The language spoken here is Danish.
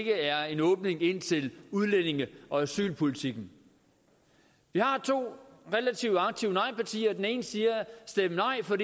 er en åbning indtil udlændinge og asylpolitikken vi har to relativt aktive nejpartier det ene siger stem nej for